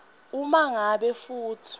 uma ngabe futsi